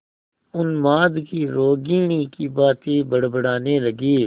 उन्माद की रोगिणी की भांति बड़बड़ाने लगी